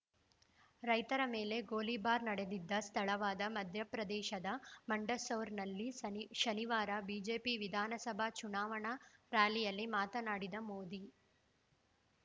ರೈತರ ಮೇಲೆ ಗೋಲಿಬಾರ್‌ ನಡೆದಿದ್ದ ಸ್ಥಳವಾದ ಮಧ್ಯಪ್ರದೇಶದ ಮಂಡಸೌರ್‌ನಲ್ಲಿ ಸನಿ ಶನಿವಾರ ಬಿಜೆಪಿ ವಿಧಾನಸಭೆ ಚುನಾವಣಾ ರ‍್ಯಾಲಿಯಲ್ಲಿ ಮಾತನಾಡಿದ ಮೋದಿ